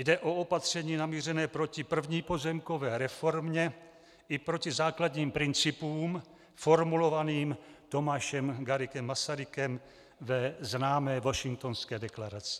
Jde o opatření namířené proti první pozemkové reformě i proti základním principům formulovaným Tomášem Garrigue Masarykem ve známé Washingtonské deklaraci.